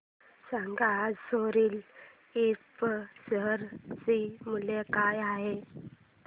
सांगा आज सोरिल इंफ्रा शेअर चे मूल्य काय आहे